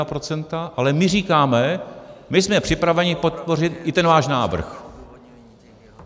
Ale my říkáme, my jsme připraveni podpořit i ten váš návrh.